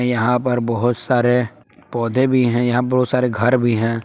यहां पर बहुत सारे पौधे भी हैं यहां बहुत सारे घर भी हैं।